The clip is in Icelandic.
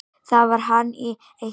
Þar var hann í eitt ár.